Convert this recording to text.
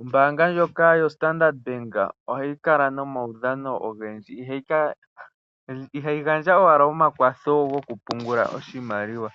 Ombaanga ndjoka yo Standard ohayi kala nomaudhano ogendji. Ihayi gandja owala omakwatho goku pungula oshimaliwa